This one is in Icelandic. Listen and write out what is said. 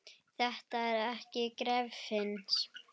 Þetta er ekki gefins.